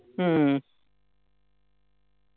हु